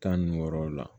Tan ni wɔɔrɔ la